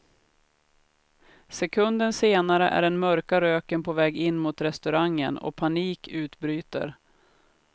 Sekunden senare är den mörka röken på väg in mot restaurangen och panik utbryter.